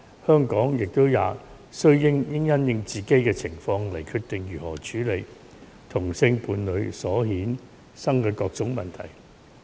香港也須因應自己的情況，決定如何處理同性伴侶所衍生的各種問題。